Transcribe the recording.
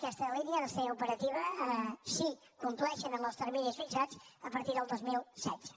aquesta línia ha de ser operativa si compleixen amb els terminis fixats a partir del dos mil setze